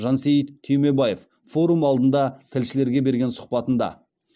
жансейіт түймебаев форум алдында тілшілерге берген сұхбатында